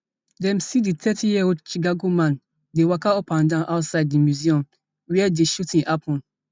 dem see di thirtyyearold chicago man dey waka upandan outside di museum wia di shooting happun